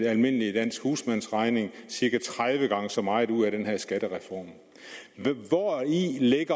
almindelig dansk husmandsregning cirka tredive gange så meget ud af den her skattereform hvori